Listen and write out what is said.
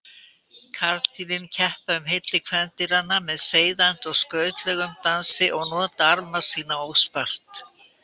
Karldýrin keppa um hylli kvendýranna með seiðandi og skrautlegum dansi og nota arma sína óspart.